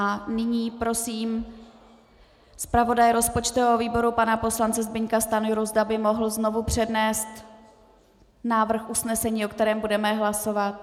A nyní prosím zpravodaje rozpočtového výboru pana poslance Zbyňka Stanjuru, zda by mohl znovu přednést návrh usnesení, o kterém budeme hlasovat.